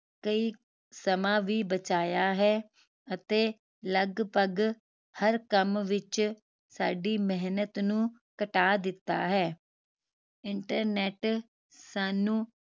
ਕਈ ਸਮਾਂ ਵੀ ਬਚਾਇਆ ਹੈ ਅਤੇ ਲਗਭਗ ਹਰ ਕਾਮ ਵਿਚ ਸਾਡੀ ਮਿਹਨਤ ਨੂੰ ਘਟਾ ਦਿੱਤਾ ਹੈ internet ਸਾਨੂੰ